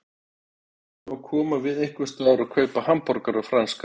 Við ætlum að koma við einhversstaðar og kaupa hamborgara og franskar.